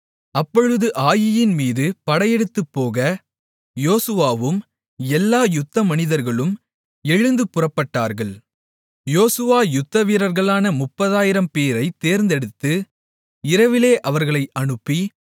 அப்பொழுது ஆயீயின் மீது படையெடுத்துப் போக யோசுவாவும் எல்லா யுத்தமனிதர்களும் எழுந்து புறப்பட்டார்கள் யோசுவா யுத்தவீரர்களான முப்பதாயிரம்பேரைத் தேர்ந்தெடுத்து இரவிலே அவர்களை அனுப்பி